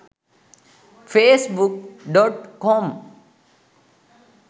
facebook.com